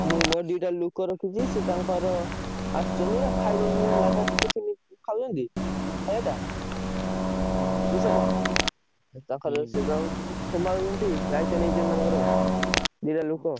ହୁଁ ମୋର ଦିଟା ଲୋକ ରଖିଛି, ସିଏ ତାଙ୍କର ଆସୁଛନ୍ତି ଆଉ ଖାଇଦଉଛନ୍ତି ଗାଧୁଆବେଳ tiffin ଖାଉଛନ୍ତି ଖାୟାଟା ବୁଝିହେଲା। ଆଉ ତାଙ୍କର ସମ୍ଭାଳୁଛନ୍ତି ଦାୟିତ୍ବ ନେଇଛନ୍ତି ତାଙ୍କର ଦିଟା ଲୋକ।